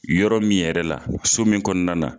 Yɔrɔ min yɛrɛ la ,so min kɔnɔna na